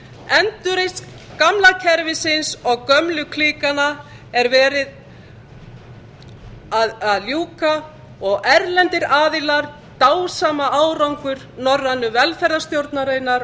endurreisn gamla kerfisins og gömlu klíkanna er verið að ljúka og erlendir aðilar dásama árangur norrænu velferðarstjórnarinnar